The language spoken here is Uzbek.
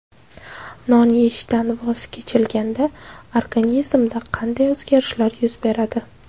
Non yeyishdan voz kechilganda organizmda qanday o‘zgarishlar yuz beradi?.